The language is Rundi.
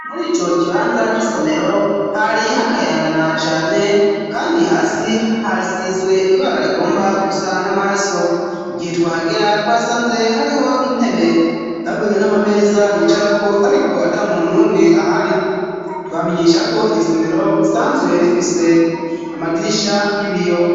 Muri ico kibanza c'isomero hari hakayangana cane, kandi hasi hasizwe ibara rigomba gusa n'amaraso, igihe twahagera twasanze hariho intebe hamwe n'amameza bicarako ariko ata muntu n'umwe ahari, twobamenyesha ko iryo somero risanzwe rifise amadirisha y'ibiyo.